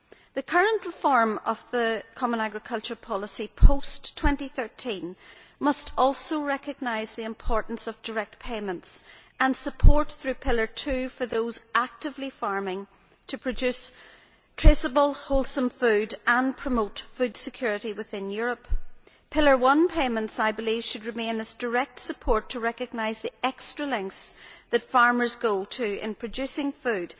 The current reform of the common agriculture policy post 2013 must also recognise the importance of direct payments and support through Pillar 2 for those actively farming to produce traceable, wholesome food and promote food security within Europe. I believe that Pillar 1 payments should remain as direct support to recognise the extra lengths that farmers go to in producing food.